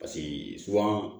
Paseke